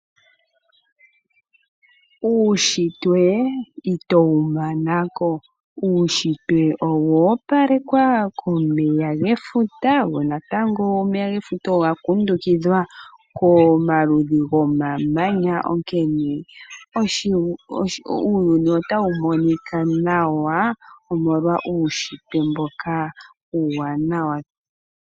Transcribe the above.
Uunshitwe itowu mana ko. Uunshitwe owa opalekwa komeya gefuta go natango omeya gefuta oga kundukidhwa komaludhi gmamanya, onkene uuyuni otawu monika nawa, omolwa uunshitwe mboka uuwanawa.